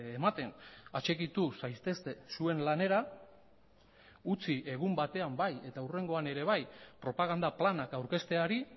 ematen atxikitu zaitezte zuen lanera utzi egun batean bai eta hurrengoan ere bai propaganda planak aurkezteari